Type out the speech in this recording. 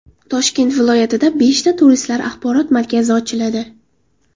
Toshkent viloyatida beshta turistlar axborot markazi ochiladi.